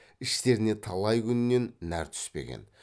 іштеріне талай күннен нәр түспеген